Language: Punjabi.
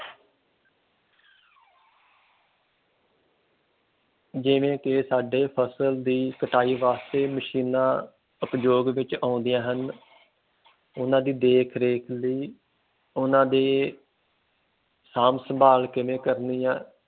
ਜਿਵੇਂ ਕਿ ਸਾਡੇ ਫਸਲ ਦੀ ਕਟਾਈ ਵਾਸਤੇ ਮਸ਼ੀਨਾਂ ਉਪਯੋਗ ਵਿਚ ਆਉਂਦੀਆਂ ਹਨ, ਉਨ੍ਹਾਂ ਦੀ ਦੇਖ ਰੇਖ ਲਈ ਉਨ੍ਹਾਂ ਦੀ ਸਾਂਭ ਸੰਭਾਲ ਕਿਵੇਂ ਕਰਨੀ ਆ,